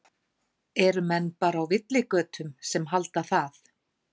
Eru menn bara á villigötum sem halda það?